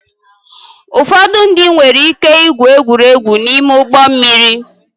Ụfọdụ ndị nwere ike igwu egwuregwu n'ime ụgbọ mmiri